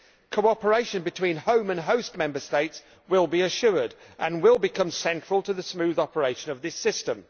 Cooperation between home and host Member States will be assured and will become central to the smooth operation of this system.